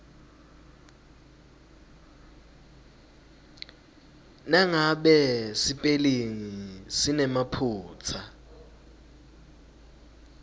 nangabe sipelingi sinemaphutsa